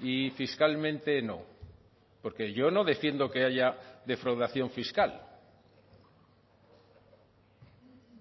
y fiscalmente no porque yo no defiendo que haya defraudación fiscal